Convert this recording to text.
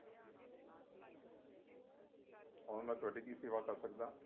ਹੋਰ ਮੈ ਤੁਹਾਡੀ ਕੀ ਸੇਵਾ ਕਰ ਸਕਦਾ ਹਾਂ